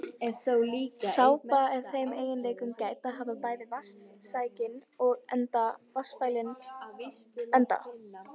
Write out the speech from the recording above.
Sápa er þeim eiginleikum gædd að hafa bæði vatnssækinn enda og vatnsfælinn enda.